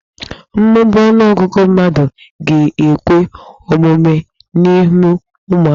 Mmụba ọnụọgụgụ mmadụ ga-ekwe omume n'ịmụ ụmụaka.